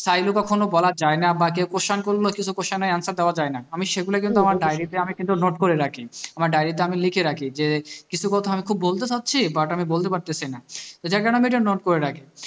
চাইলেও কখনো বলা যাই না বা কেউ question করলেও কিছু question এর answer দেওয়া যায় না আমি সেগুলো কিন্তু আমার diary তে আমি কিন্তু note করে রাখি আমার diary তে আমি লিখে রাখি যে কিছু কথা আমি খুব বলতে চাইছি but আমি বলতে পারতেছিনা যে কারণে আমি note করে রাখি